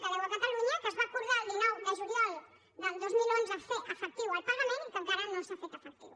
que deu a catalunya que es va acordar el dinou de juliol del dos mil onze fer ne efectiu el pagament i que encara no s’ha fet efectiu